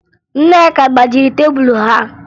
Nneka gbajiri tebulu ha